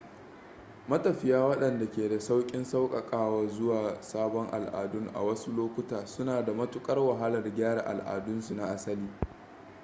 matafiya waɗanda ke da sauƙin sauƙaƙawa zuwa sabon al'adun a wasu lokuta suna da matukar wahalar gyara al'adunsu na asali